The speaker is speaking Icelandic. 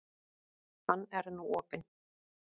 Hann er nú opinn.